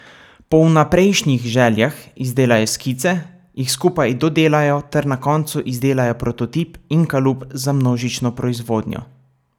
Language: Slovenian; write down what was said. Po vnaprejšnjih željah izdelajo skice, jih skupaj dodelajo ter na koncu izdelajo prototip in kalup za množično proizvodnjo.